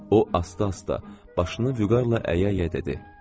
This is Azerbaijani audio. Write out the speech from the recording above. O asta-asta başını vüqarla əyə-əyə dedi: